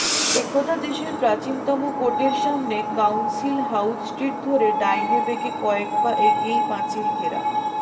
একদা দেশের প্রাচীনতম কোর্টের সামনে কাউন্সিল হাউজ স্ট্রিট ধরে ডাইনে বেঁকে কয়েক পা এগিয়েই পাঁচিলঘেরা